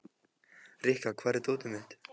Rikka, hvar er dótið mitt?